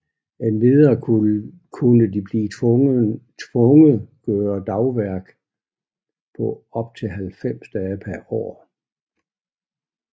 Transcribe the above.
Endvidere kunne de blive tvunget gøre dagsværk på op til 90 dage pr år